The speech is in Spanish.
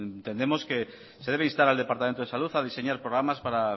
entendemos que se debe instar al departamento de salud a diseñar programas para